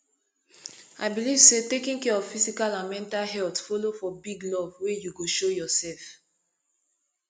i believe say taking care of physical and mental health follow for big love wey you go show yourself